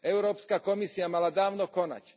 Európska komisia mala dávno konať.